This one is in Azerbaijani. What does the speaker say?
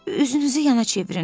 Üzünüzü yana çevirin.